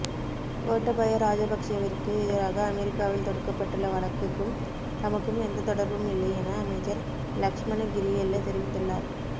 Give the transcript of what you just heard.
கோட்டாபய ராஜபக்ஷவிற்கு எதிராக அமெரிக்காவில் தொடுக்கப்பட்டுள்ள வழக்குக்கும் தமக்கும் எந்த தொடர்பும் இல்லை என அமைச்சர் லக்ஷ்மன் கிரியெல்ல தெரிவித்துள்ளார்